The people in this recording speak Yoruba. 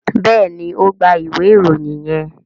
béèni o gbà ìwé Ìròyìn yén.